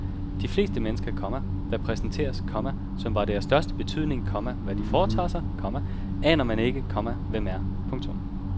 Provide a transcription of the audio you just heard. De fleste mennesker, komma der præsenteres, komma som var det af største betydning, komma hvad de foretager sig, komma aner man ikke, komma hvem er. punktum